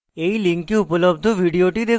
এই link উপলব্ধ video দেখুন